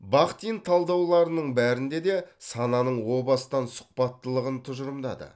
бахтин талдауларының бәрінде де сананың о бастан сұхбаттылығын тұжырымдады